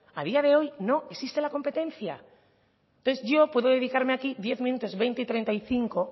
a día de hoy no existe la competencia entonces yo hoy aquí puedo dedicarme diez minutos veinte y treinta y cinco